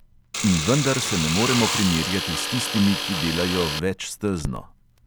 In vendar se ne moremo primerjati s tistimi, ki delajo večstezno.